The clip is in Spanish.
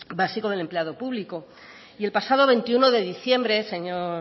básico del empleado público y el pasado veintiuno de diciembre señor